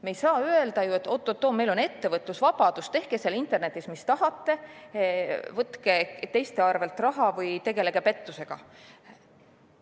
Me ei saa öelda, et oot-oot, meil on ettevõtlusvabadus, tehke seal internetis, mis tahate, võtke teiste arvelt raha või tegelege pettusega.